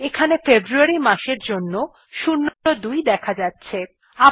এখানে ফেব্রুয়ারী মাসের জন্য ০২ দেখা যাচ্ছে